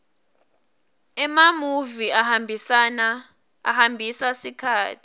emamuvi ahambisa sikhatsi